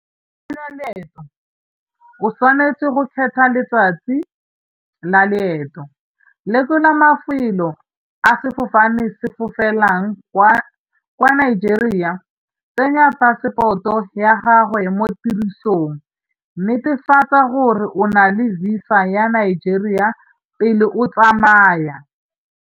Tseya leeto o tshwanetse go kgetha letsatsi la leeto. Lekola mafelo a sefofane se fofelang kwa, kwa Nigeria tsenya phasepoto ya gagwe mo tirisong, netefatsa gore o na le visa ya Nigeria pele o tsamaya.